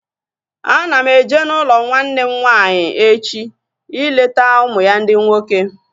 Ana m eje n'ụlọ nwanne m nwaanyị echi ileta ụmụ ya ndị nwoke